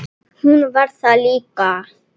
Hún var það líka.